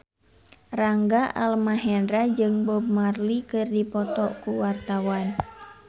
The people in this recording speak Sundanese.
Rangga Almahendra jeung Bob Marley keur dipoto ku wartawan